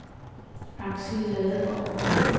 Axel Ladegaard